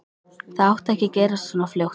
Það átti ekki að gerast svona fljótt.